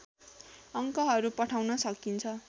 अङ्कहरू पठाउन सकिन्छ